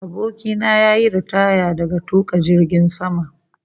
Abokina ya yi ritaya daga tuka jirgin sama